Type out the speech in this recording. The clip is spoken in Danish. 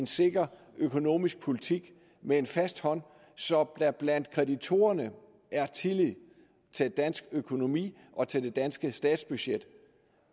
sikker økonomisk politik med en fast hånd så der blandt kreditorerne er tillid til dansk økonomi og til det danske statsbudget